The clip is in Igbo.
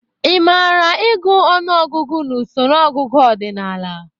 Ị mara ịgụ ọnụọgụgụ n'usoro ọgụgụ ọdịnaala?